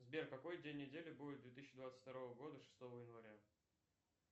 сбер какой день недели будет две тысячи двадцать второго года шестого января